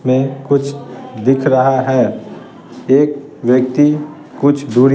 में कुछ दिख रहा है एक व्यक्ति कुछ दूर--